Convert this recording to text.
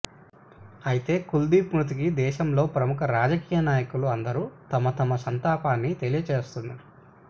అయితే కులదీప్ మృతికి దేశంలోని ప్రముఖ రాజకీయ నాయకులు అందరూ తమ తమ సంతాపాన్ని తెలియచేస్తున్నారు